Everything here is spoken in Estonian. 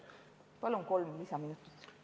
Palun kolm lisaminutit!